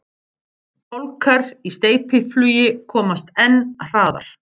Fálkar í steypiflugi komast enn hraðar.